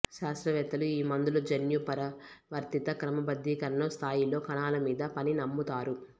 శాస్త్రవేత్తలు ఈ మందులు జన్యు పరివర్తిత క్రమబద్ధీకరణను స్థాయిలో కణాల మీద పని నమ్ముతారు